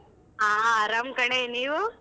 ಆ ಅರಾಮ್ ಕಣೆ, ನೀವು?